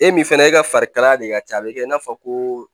E min fana e ka farikalaya de ka ca a bɛ kɛ i n'a fɔ ko